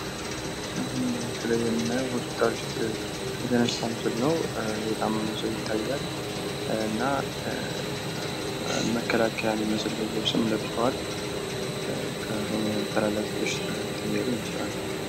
በምስሉ ላይ እንደምንመለከተው በሆስፒታል ውስጥ የተነሳ ምስል ነው። የታመመ ሰው ይታያል፤ የመከላከያ ልብስ ለብሰዋል የተላላፊ በሽታን እያከሙ ይመስላል።